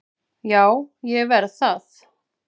Já, ég verð það